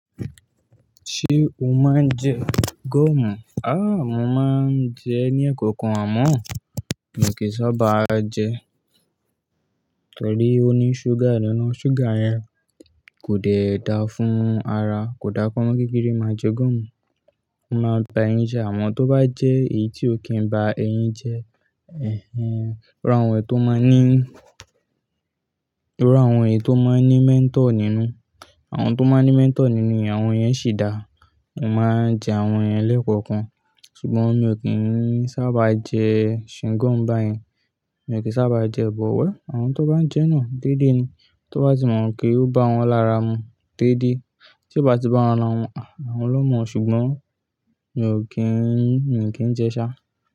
Ṣé o máa ń jẹ goomù? Aà, mo máa ń jẹ ní ẹkọ̀kan àmọ́ mi ò kí ń sábà jẹ, torí ó ní ṣúgà nínú. Ṣúgà yẹn kò dẹ da fún ara, kò dá kọ́mọ̀ kékeré máa jẹ goomù. Wọ́n máa ń bá ẹyín jẹ àmoo tó bá jẹ èyí tí ó kí ń ba ẹyín jẹ, ẹ́hẹ́n. Irú, àwọn èyí tó máa n ní, iru àwọn èyí tó máa ń ní mentol nínú, àwọn tó máa ń ní mentol nínú yẹn, àwọn yẹn sì dáa. Mo máa ń jẹ àwọn yẹn lẹ́kọ̀ọ̀kan. Ṣùgbọ́n mi ò kí ń sábà jẹ ṣingọ́ọ̀mù báyen. Mi ò kí ń sábà jẹ ẹ́, but well àwọn tó bá ń jẹ́ náà déédé ni. Tó bá ti mọ̀ pé ó bá wọn lára mu déédé. Tí ó bá ti bá wọn mu, àwọn lọ́mọ. Ṣùgbọ́n mi ò kí ń, mi ò kí ń jẹ ṣá.